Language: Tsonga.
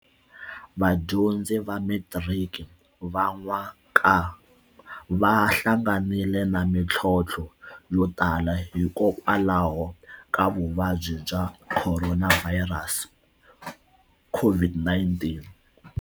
Vadyondzi va metiriki va n'wa ka va hlanganile na mitlhotlho yo tala hikokwalaho ka vuvabyi bya Khoronavhayirasi, COVID-19.